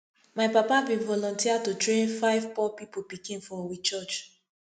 my papa bin volunteer to train five poor pipu pikin for we church